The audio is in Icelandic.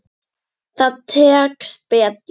Það tekst betur.